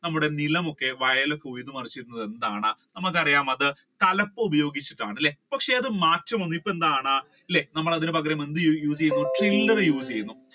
നമ്മുടെ നിലമൊക്കെ വയൽ പോയത് മറിച്ചിടുന്നത് എന്താണ് നമ്മുക്ക് അറിയാം എന്താണ് അത് തലപ്പ് ഉപയോഗിച്ചിട്ടാണ് അല്ലെ പക്ഷെ അത് മാറ്റം വന്ന് അത് ഇപ്പൊ എന്താണ് അല്ലെ അതിനു പകരം നമ്മൾ എന്ത് ചെയ്യുന്നു